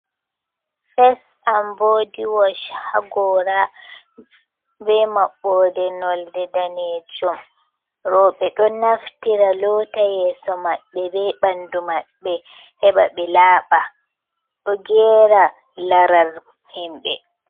Face and body wash haa gora, be maɓɓode nolde danejum. Rowɓe ɗon naftira lota yeso maɓɓe be ɓandu maɓɓe heɓa ɓe laaɓa. Do gera larar himɓe